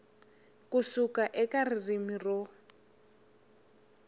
ku suka eka ririmi ro